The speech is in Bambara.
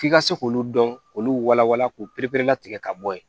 F'i ka se k'olu dɔn k'olu walawala k'o pereperelatigɛ ka bɔ yen